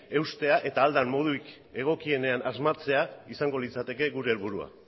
eustea eta ahal den modurik egokienean asmatzea izango litzateke gure helburua